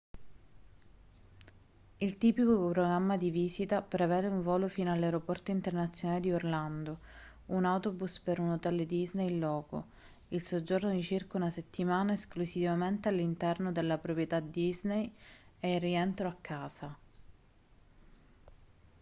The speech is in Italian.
il tipico programma di visita prevede un volo fino all'aeroporto internazionale di orlando un autobus per un hotel disney in loco il soggiorno di circa una settimana esclusivamente all'interno della proprietà disney e il rientro a casa